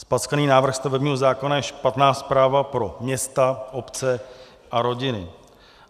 Zpackaný návrh stavebního zákona je špatná zpráva pro města, obce a rodiny.